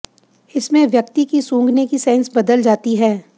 इसमें व्यक्ति की सूंघने की सेंस बदल जाती है